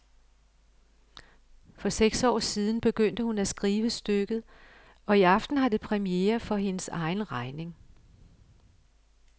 For seks år siden begyndte hun at skrive stykket, og i aften har det premiere for hendes egen regning.